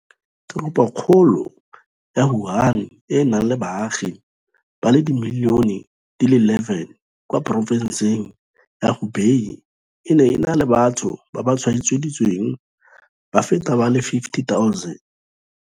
Teropokgolong ya Wuhan, e e nang le baagi ba le dimilione di le 11 kwa porofenseng ya Hubei, e ne e na le batho ba ba tshwaeditsweng ba feta ba le 50 000.